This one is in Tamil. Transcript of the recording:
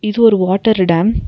இது ஒரு வாட்டரு டேம் .